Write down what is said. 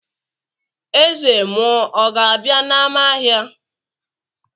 eze mmuo ọ̀ gābia n'ama-ahia?